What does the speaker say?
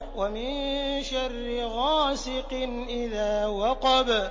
وَمِن شَرِّ غَاسِقٍ إِذَا وَقَبَ